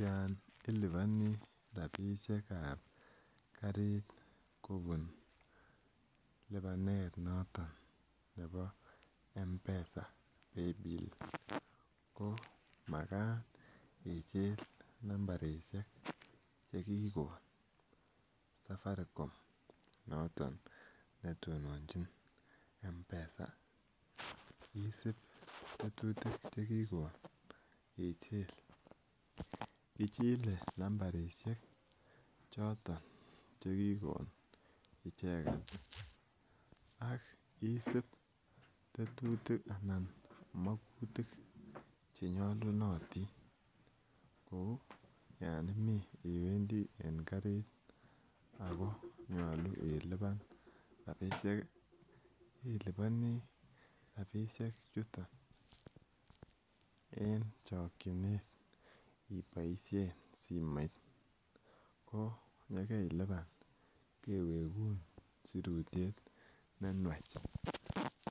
Yan iliponii rapisiek ab karit kobun lipanet noton nebo mpesa paybill ko makat ichil nambarisiek chekikon safaricom noton netononjin Mpesa isip tetutik chekikon ichil ichile nambarisiek choton chekikon icheket ak is tetutik anan mokutik chenyolunotin kou yon imii iwendii en karit ako nyolu ilipan rapisiek iliponii rapisiek chuton en chokyinet iboisien simoit ko yekeilipan kewegun sirutyet nenwach